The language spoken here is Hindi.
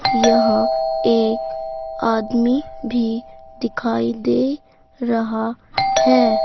यह एक आदमी भी दिखाई दे रहा है।